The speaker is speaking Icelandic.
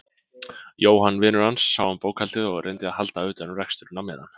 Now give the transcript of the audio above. Jóhann vinur hans sá um bókhaldið og reyndi að halda utan um reksturinn á meðan.